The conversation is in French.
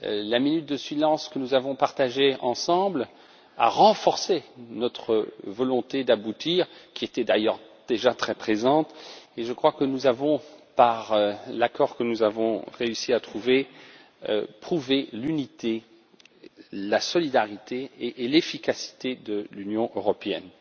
La minute de silence, que nous avons partagée ensemble, a renforcé notre volonté d'aboutir, qui était d'ailleurs déjà très présente, et je crois que nous avons, par l'accord que nous avons réussi à trouver, prouvé l'unité, la solidarité et l'efficacité de l'Union européenne.